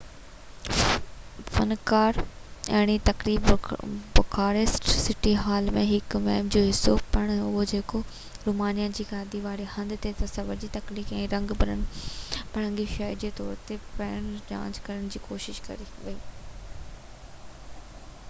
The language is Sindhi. فنڪاراڻي تقريب بخاريسٽ سٽي هال جي هڪ مهم جو حصو پڻ هو جيڪو رومانيا جي گادي واري هنڌ جي تصوير کي تخليقي ۽ رنگ برنگي شهر جي طور تي ٻيهر لانچ ڪرڻ جي ڪوشش ڪري ٿي